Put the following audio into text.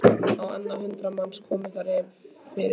Á annað hundrað manns komust þar fyrir.